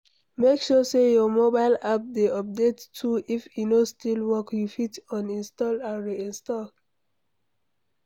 Make sure say your mobile app de updated too if e no still work you fit uninstall and reinstall